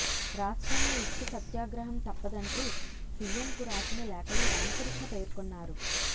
రాష్ట్రంలో ఇసుక సత్యాగ్రహం తప్పదంటూ సీఎంకు రాసిన లేఖలో రామకృష్ణ పేర్కొన్నారు